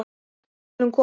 Við skulum koma